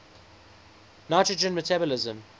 nitrogen metabolism